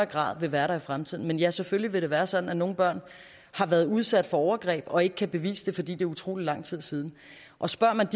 grad vil være der i fremtiden men ja selvfølgelig vil det være sådan at nogle børn har været udsat for overgreb og ikke kan bevise det fordi det er utrolig lang tid siden og spørger man